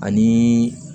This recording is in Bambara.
Ani